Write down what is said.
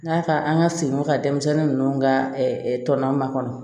N'a ka an ka segin o ka denmisɛnnin ninnu ka tɔn makɔnɔ